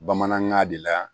Bamanankan de la